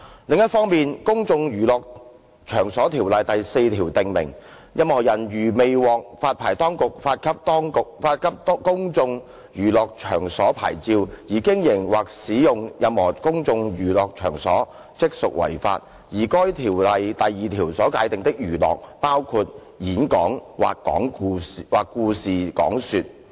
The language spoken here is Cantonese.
另一方面，《公眾娛樂場所條例》第4條訂明，任何人如未獲發牌當局發給公眾娛樂場所牌照而經營或使用任何公眾娛樂場所，即屬違法，而該條例第2條所界定的"娛樂"包括"演講或故事講說"。